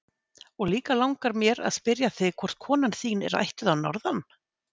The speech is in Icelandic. og líka langar mér að spyrja þig hvort kona þín er ættuð að Norðan?